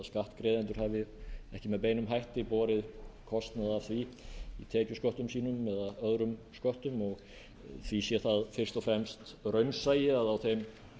skattgreiðendur hafi ekki með beinum hætti borið kostnað af því tekjusköttum sínum eða öðrum sköttum og því sé það fyrst og fremst raunsæi að á þeim